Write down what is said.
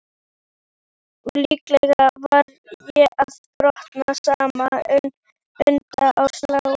Líklega var ég að brotna saman undan álaginu.